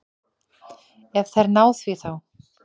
Ef þær ná því þá.